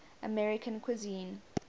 american cuisine